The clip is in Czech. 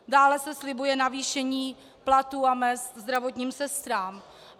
Dále se slibuje navýšení platů a mezd zdravotním sestrám.